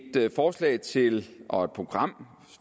forslag til og et program